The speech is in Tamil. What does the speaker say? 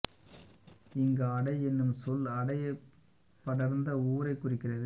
இங்கு அடை என்னும் சொல் அடை படர்ந்த ஊரைக் குறிக்கிறது